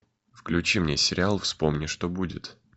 включи мне сериал вспомни что будет